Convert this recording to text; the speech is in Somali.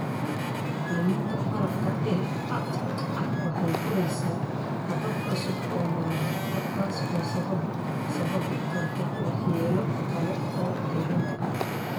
Luminta barafka ee Arctic waxay furaysaa habab cusub oo maraakiibta, taas oo sababi karta waxyeelo kale oo deegaanka ah.